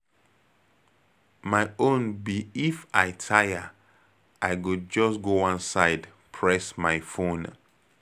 My own be if I tire, I go just go one side press my phone.